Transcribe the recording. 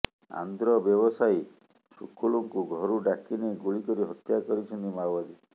ଆନ୍ଧ୍ର ବ୍ୟବସାୟୀ ସୁକୁଲୁଙ୍କୁ ଘରୁ ଡାକିନେଇ ଗୁଳି କରି ହତ୍ୟା କରିଛନ୍ତି ମାଓବାଦୀ